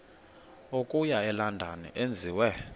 okuya elondon enziwe